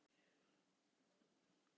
Þú hefur æðislegt minni!